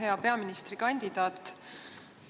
Hea peaministrikandidaat!